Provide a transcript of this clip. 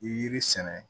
Yiri sɛnɛ